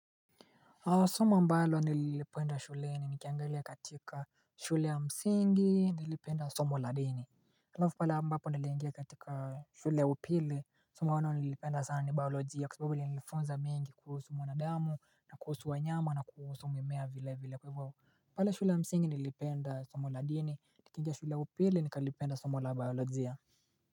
Soma ambalo nilipenda shule ni nikiangeli katika shule ya msingi nilipenda somo la dini. Alafu pale mbapo nilipenda somo ladini nikiangeli katika shule upili somo wanwa nilipenda sana ni biolojia kwa sababu li nilifunza mingi kuusu mwana damu na kuusu wa nyama na kuhusu mwemea vile vile kwewawo. Pale shule msingi nilipenda somo la dini nikingea shule upili nikalipenda somo labalo zia.